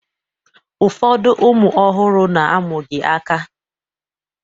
Ụfọdụ ụmụ ọhụrụ na-amụghị aka